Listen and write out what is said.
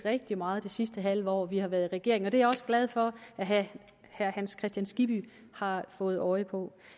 rigtig meget det sidste halve år hvor vi har været regering og det er jeg også glad for at herre hans kristian skibby har fået øje på